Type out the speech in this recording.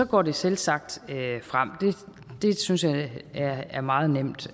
går det selvsagt fremad det synes jeg er er meget nemt